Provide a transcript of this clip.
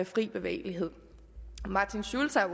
frie bevægelighed martin schulz har